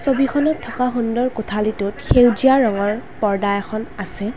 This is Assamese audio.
ছবিখনত থকা সুন্দৰ কোঠালিটোত সেউজীয়া ৰঙৰ পৰ্দা এখন আছে।